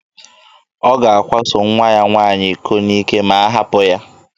Ọ ga-akwaso nwa ya nwaanyị iko n'ike ma a hapụ ya.